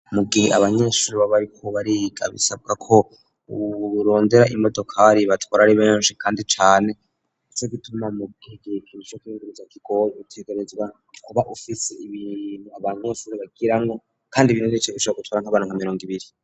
mugihe abanyeshuri baba bariko bariga bisabwa ko urondera imodokari ibatwara ari benshi kandi cane ndetse Nico gituma mugihe nkumushoferi bitamugoye utegarezwa kuba ufise ibintu abanyeshuri bagiramwo kandi ibintu bigusaba gutwara nk'abantu nka mirongo ibiri